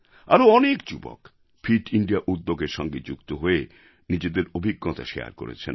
আরও অনেক যুবক ফিট ইন্দিয়া উদ্যোগের সঙ্গে যুক্ত হয়ে নিজেদের অভিজ্ঞতা শারে করেছেন